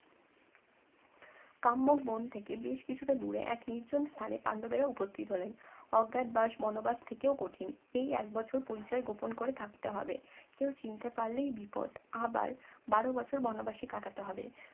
কাম্যক বন থেকে বেশ কিছুটা দূরে এক নির্জন স্থানে পান্ডবেরা উপস্থিত হলেন অজ্ঞাত বাস বনবাস থেকেও কঠিন এই এক বছর পরিচয় গোপন করে থাকতে হবে কেউ চিনতে পারলেই বিপদ আবার বারো বছর বনবাসে কাটাতে হবে